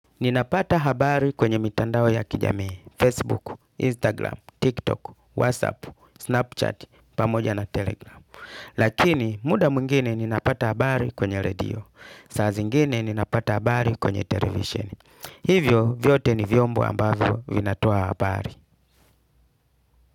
Ninapata habari kwenye mitandao ya kijamii, Facebook, Instagram, TikTok, Whatsapp, Snapchat, pamoja na Telegram. Lakini muda mwingine ninapata habari kwenye radio, saa zingine ninapata habari kwenye televisheni. Hivyo vyote ni vyombo ambavyo vinatoa habari.